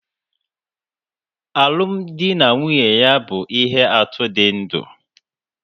Alụmdi na nwunye ya bụ ihe atụ dị ndụ